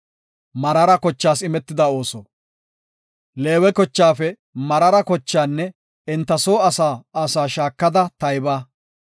“Leewe kochaafe Meraara kochaanne enta soo asaa asaa shaakada tayba.